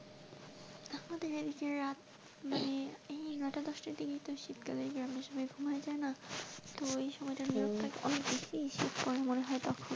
আমাদের এদিকে রাত মানে এই নটা দশটার দিকে শীতকালে আমরা সবাই ঘুমাই যাই না তো ওই সময়টায় অনেক বেশি শীত পড়ে মনে হয় তখন.